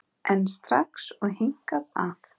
En strax og hingað að